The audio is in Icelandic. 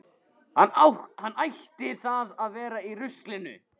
Hann ætti þá að vera í ruslinu.